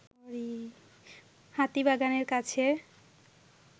হাতিবাগানের কাছে